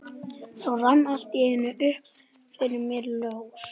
Þá rann allt í einu upp fyrir mér ljós.